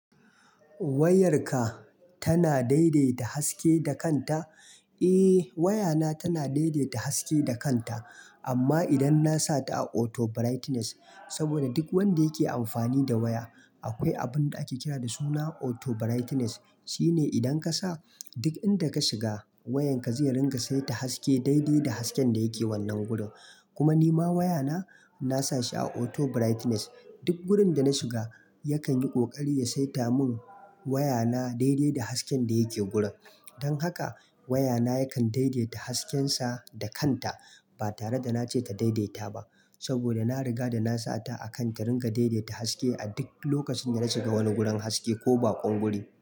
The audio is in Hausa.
Wayarka tana daidaita haske da kanta? Eh wayana tana daidaita haske da kanta. Amma idan na sa ta a auto brightness, saboda duk wanda yake amfani da waya, akwai abun da ake kira da suna auto brightness. Shi ne idan ka sa, duk inda ka shiga wayanka zai ringa saita haske daidai da hasken da yake wannan gurin. Kuma ni ma wayana na sa shi a auto brightness. Duk wurin da na shiga yakan yi ƙoƙari ya saita mun wayana daidai da hasken da yake gurin. Don haka wayana yakan daidaita haskensa da kanta ba tare da na ce ta daidaita ba. Saboda na riga da na sa ta a kan ta ringa daidaita haske a duk lokacin da na shiga wani gurin haske ko baƙon guri.